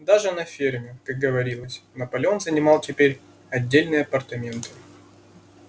даже на ферме как говорилось наполеон занимал теперь отдельные апартаменты